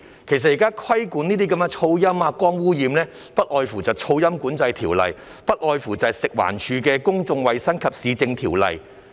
其實，現在規管這些噪音、光污染等的，不外乎是《噪音管制條例》，不外乎是食環署的《公眾衞生及市政條例》。